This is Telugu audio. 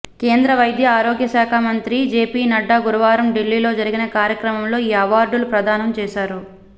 కేంద్ర వైద్య ఆరోగ్య శాఖ మంత్రి జేపీ నడ్డా గురువారం ఢిల్లీలో జరిగిన కార్యక్రమంలో ఈ అవార్డులు ప్రదానం చేశారు